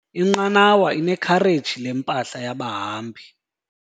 Inqanawa inekhareji lempahla yabahambi.